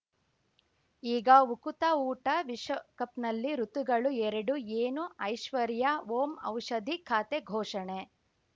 ಈಗ ಉಕುತ ಊಟ ವಿಶ್ವಕಪ್‌ನಲ್ಲಿ ಋತುಗಳು ಎರಡು ಏನು ಐಶ್ವರ್ಯಾ ಓಂ ಔಷಧಿ ಖಾತೆ ಘೋಷಣೆ